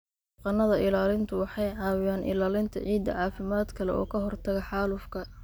Dhaqannada ilaalintu waxay caawiyaan ilaalinta ciidda caafimaadka leh oo ka hortagga xaalufka.